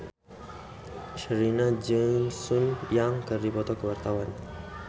Sherina jeung Sun Yang keur dipoto ku wartawan